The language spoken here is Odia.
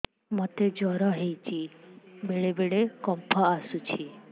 ମୋତେ ଜ୍ୱର ହେଇଚି ବେଳେ ବେଳେ କମ୍ପ ଆସୁଛି